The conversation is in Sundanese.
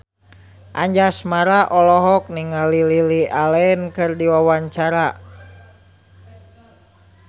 Anjasmara olohok ningali Lily Allen keur diwawancara